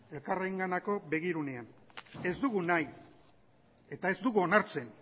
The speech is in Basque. elkarrenganako begirunean ez dugu nahi eta ez dugu onartzen